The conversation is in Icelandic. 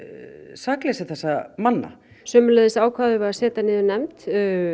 sakleysi þessara manna sömuleiðis ákváðum við að setja niður nefnd